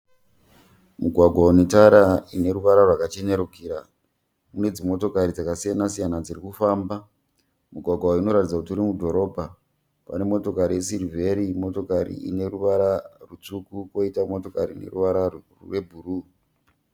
Mugwagwa unetara ine ruvara rwakachenerukira. Kune dzimotokari dzakasiyana-siyana dzirikufamba. Mugwagwa uyu unoratidza kuti uri mudhorobha. Pane motokari yesirivheri nemotokari ineruvara rwutsvuku, poita motokari ineruvara rwebhuruwu.